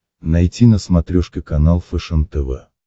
найти на смотрешке канал фэшен тв